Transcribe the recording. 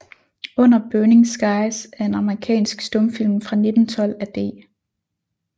Under Burning Skies er en amerikansk stumfilm fra 1912 af D